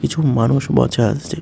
কিছু মানুষ বছা আসছে ।